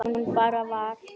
Hún bara var.